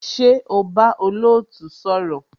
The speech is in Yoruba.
Ṣé o bá olootu sọ̀rọ̀?